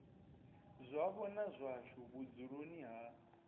zwavho na zwashu vhudzuloni ha